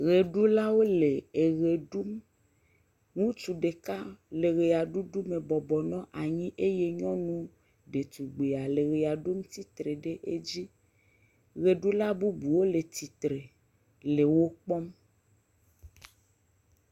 Ʋeɖulawo le ʋe ɖum. Ŋutsu ɖeka le ʋea ɖuɖume bɔbɔ nɔ anyi eye nyɔnu detugbia le ʋea ɖum tsi tre ɖe edzi. Ʋeɖula bubu le tsi tre le wo kpɔm